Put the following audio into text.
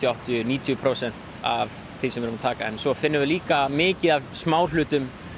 áttatíu til níutíu prósent af því sem við erum að taka en svo finnum við líka mikið af smáhlutum